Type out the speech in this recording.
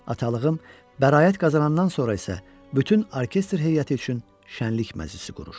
Atalığım bəraət qazanandan sonra isə bütün orkestr heyəti üçün şənlik məclisi qurur.